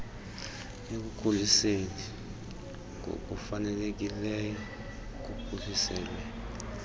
ekukhuliseni ngokufanelekileyo kuphuhliselwe